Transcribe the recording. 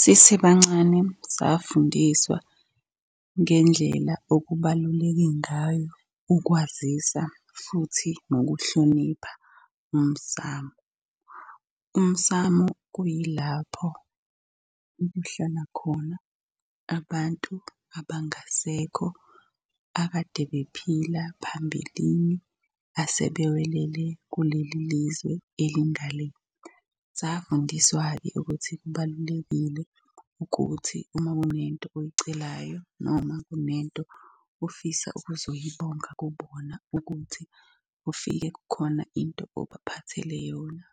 Sisebancane safundiswa ngendlela okubaluleke ngayo ukwazisa futhi nokuhlonipha umsamu. Umsamu kuyilapho okuhlala khona abantu abangasekho akade bephila phambilini asebewelele kuleli lizwe elinga le. Safundiswa-ke ukuthi kubalulekile ukuthi uma kunento oyicelayo noma kunento ofisa ukuzoyibonga kubona ukuthi ufike kukhona into obaphathele yona.